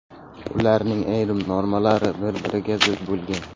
Ularning ayrim normalari bir-biriga zid bo‘lgan.